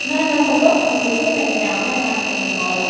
ನಾನ್ ಒನ್ಸಲ್ಪ busy ಅದೆನ್ ರೀ ಅಮೇಲ್ ಮಾಡ್ತೇನ್ ನಿಮ್ಗ call .